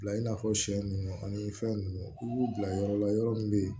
Bila i n'a fɔ sɛ ninnu ani fɛn ninnu i b'u bila yɔrɔ la yɔrɔ min bɛ yen